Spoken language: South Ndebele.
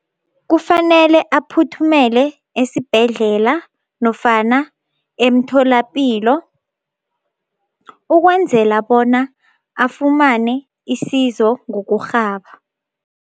Kufanele aphuthumele esibhedlela nofana emtholapilo ukwenzela bona afumane isizo ngokurhaba.